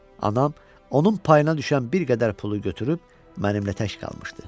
Anam onun payına düşən bir qədər pulu götürüb mənimlə tək qalmışdı.